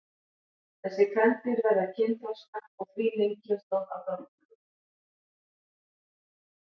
Þessi kvendýr verða kynþroska og því ný kynslóð af drottningum.